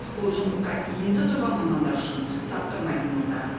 ол жұмысқа енді тұрған мамандар үшін таптырмайтын орта